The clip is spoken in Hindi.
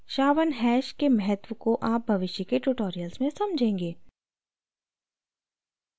sha1 hash के महत्व को आप भविष्य के tutorials में समझेंगे